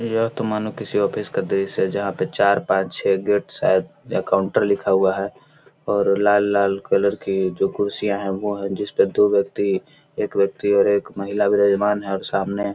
यह तो मानो किसी ऑफिस का दृश्य है जहां पे चार पांच छै गेट शायद जहां पे काउंटर लिखा हुआ है और लाल लाल कलर की जो कुर्सियां है वह है जिसपे दो व्यक्ति एक व्यक्ति और एक महिला विराजमान है और सामने --